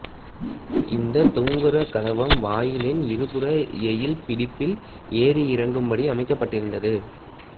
இந்தத் தூங்கெயிற்கதவம் வாயிலின் இருபுற எயில் பிடிப்பில் ஏறி இறங்கும்படி அமைக்கப்பட்டிருந்தது